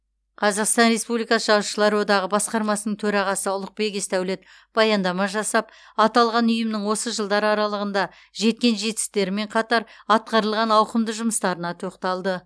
қазақстан республикасы жазушылар одағы басқармасының төрағасы ұлықбек есдәулет баяндама жасап аталған ұйымның осы жылдар аралығында жеткен жетістіктерімен қатар атқарылған ауқымды жұмыстарына тоқталды